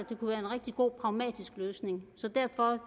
det kunne være en rigtig god pragmatisk løsning derfor